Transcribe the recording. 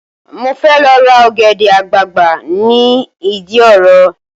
Mo fẹ́ lọ ra ọ̀gẹ̀dẹ̀ àgbagbà ni ìdí òro